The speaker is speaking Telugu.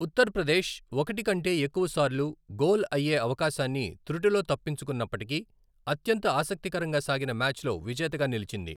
ఉత్తరప్రదేశ్ ఒకటి కంటే ఎక్కువసార్లు గోల్ అయ్యే అవకాశాన్ని తృటిలో తప్పించుకున్నప్పటికీ, అత్యంత ఆసక్తికరంగా సాగిన మ్యాచ్లో విజేతగా నిలిచింది.